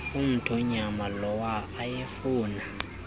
omthonyama lawa ayefuna